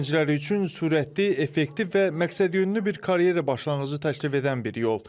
Gənclər üçün sürətli, effektiv və məqsədyönlü bir karyera başlanğıcı təklif edən bir yol.